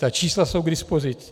Ta čísla jsou k dispozici.